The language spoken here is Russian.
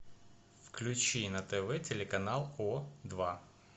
включи на тв телеканал о два